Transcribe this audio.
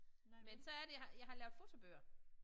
Men så er det jeg har jeg har lavet fotobøger